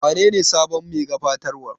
Wanene sabon me gabatarwar?